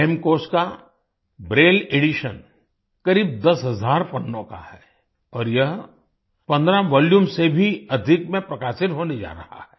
हेमकोश का braille edition करीब 10 हज़ार पन्नों का है और यह 15 वॉल्यूम्स से भी अधिक में प्रकाशित होने जा रहा है